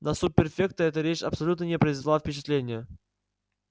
на суб-префекта эта речь абсолютно не произвела впечатления